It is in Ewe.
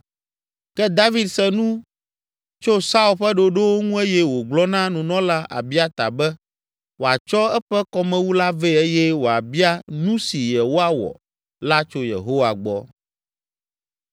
Ke David se nu tso Saul ƒe ɖoɖowo ŋu eye wògblɔ na nunɔla Abiata be wòatsɔ eƒe kɔmewu la vɛ eye wòabia nu si yewoawɔ la tso Yehowa gbɔ.